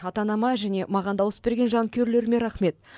ата анама және маған дауыс берген жанкүйерлеріме рахмет